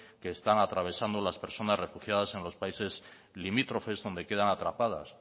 que están atravesando las personas refugiadas en los países limítrofes donde quedan atrapadas